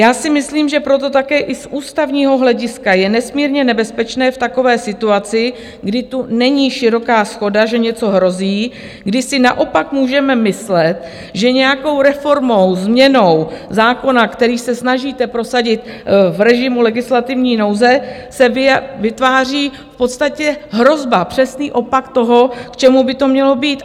Já si myslím, že proto také i z ústavního hlediska je nesmírně nebezpečné v takové situaci, kdy tu není široká shoda, že něco hrozí, kdy si naopak můžeme myslet, že nějakou reformou, změnou zákona, který se snažíte prosadit v režimu legislativní nouze, se vytváří v podstatě hrozba, přesný opak toho, k čemu by to mělo být.